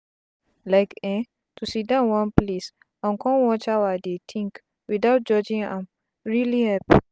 like eh to siddon one place and con watch how i dey tink without judging am really help